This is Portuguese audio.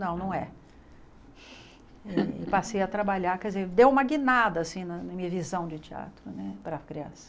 Não, não é. E passei a trabalhar, quer dizer, deu uma guinada, assim, na minha visão de teatro né para a criança.